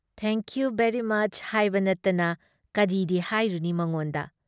Thank you very much ꯍꯥꯏꯕ ꯅꯠꯇꯅ ꯀꯔꯤꯗꯤ ꯍꯥꯏꯔꯨꯅꯤ ꯃꯉꯣꯟꯗ?